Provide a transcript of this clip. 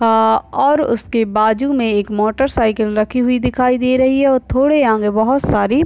अ और उसके बाजू मे एक मोटरसाइकिल रखी हुई दिखाई दे रही है और थोड़े आगे बहुत सारी --